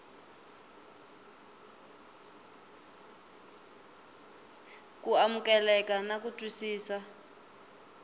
ku amukeleka na ku twisisa